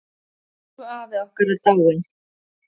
Elsku afi okkar er dáinn.